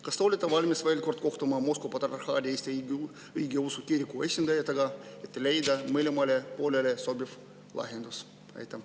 Kas te olete valmis veel kord kohtuma Moskva Patriarhaadi Eesti Õigeusu Kiriku esindajatega, et leida mõlemale poolele sobiv lahendus?